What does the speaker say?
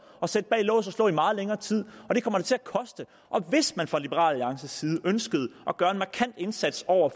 at sætte bag lås og slå i meget længere tid det kommer da til at koste hvis man fra liberal alliances side ønsker at gøre en markant indsats over